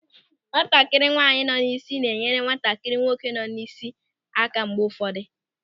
Nwatakịrị nwaanyị nọ n'isi na-enyere nwatakịrị nwoke nọ n'isi aka mgbe ụfọdụ.